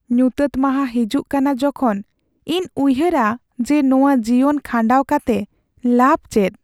ᱧᱩᱛᱟᱹᱛ ᱢᱟᱦᱟ ᱦᱤᱡᱩᱜ ᱠᱟᱱᱟ ᱡᱚᱠᱷᱚᱱ ᱤᱧ ᱩᱭᱦᱟᱹᱨᱟ ᱡᱮ ᱱᱚᱶᱟ ᱡᱤᱭᱚᱱ ᱠᱷᱟᱸᱰᱟᱣ ᱠᱟᱛᱮ ᱞᱟᱵᱷ ᱪᱮᱫ ?